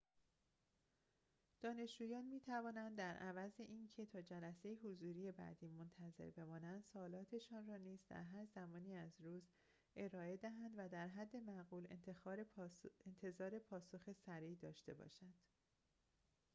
دانشجویان می‌توانند در عوض اینکه تا جلسه حضوری بعدی منتظر بمانند سؤالاتشان را نیز در هر زمانی از روز ارائه دهند و در حد معقول انتظار پاسخ سریع داشته باشند